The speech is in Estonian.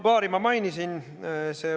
Paari ma juba mainisin.